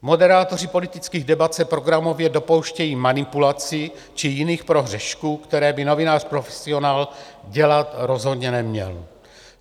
Moderátoři politických debat se programově dopouštějí manipulací či jiných prohřešků, které by novinář profesionál dělat rozhodně neměl.